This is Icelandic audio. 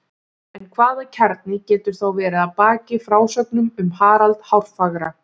En hvaða kjarni getur þá verið að baki frásögnum um Harald hárfagra?